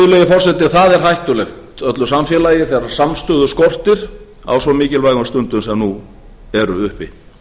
forseti það er hættulegt öllu samfélagi þegar samstöðu skortir á svo mikilvægum stundum sem nú eru uppi